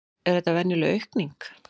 Er þetta veruleg aukning?